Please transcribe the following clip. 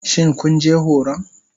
Shin kun je horon?